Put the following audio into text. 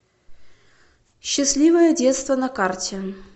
счастливое детство на карте